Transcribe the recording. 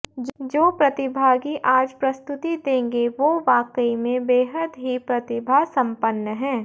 जो प्रतिभागी आज प्रस्तुति देगें वो वाकई में बेहद ही प्रतिभासंपन्न है